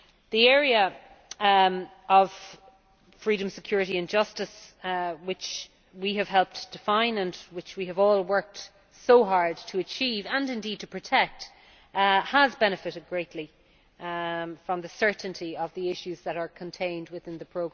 The area of freedom, security and justice, which we have helped define and which we have all worked so hard to achieve and indeed to protect, has benefited greatly from the certainty of the issues that are contained within the